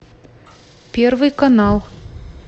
первый канал